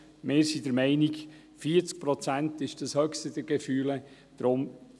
Wir sind der Meinung, dass 40 Prozent das höchste der Gefühle ist.